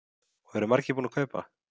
Og eru margir búnir að kaupa?